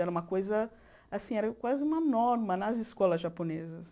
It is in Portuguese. Era uma coisa, assim, era quase uma norma nas escolas japonesas.